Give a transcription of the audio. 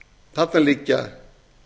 þarna liggja